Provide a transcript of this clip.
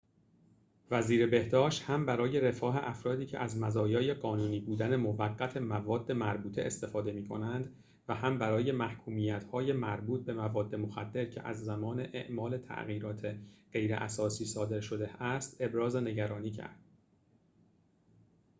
وزیر بهداشت هم برای رفاه افرادی که از مزایای قانونی بودن موقت مواد مربوطه استفاده می‌کنند و هم برای محکومیت‌های مربوط به مواد مخدر که از زمان اعمال تغییرات غیراساسی صادر شده است ابراز نگرانی کرد